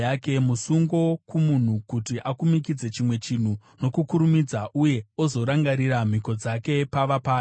Musungo kumunhu kuti akumikidze chimwe chinhu nokukurumidza uye ozorangarira mhiko dzake pava paya.